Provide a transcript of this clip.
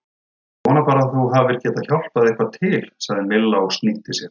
Ég vona bara að þú hafir getað hjálpað eitthvað til sagði Milla og snýtti sér.